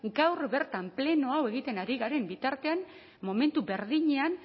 gaur bertan pleno hau egiten ari garen bitartean momentu berdinean